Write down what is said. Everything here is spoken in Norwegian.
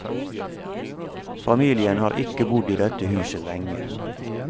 Familen har ikke bodd i dette huset lenge.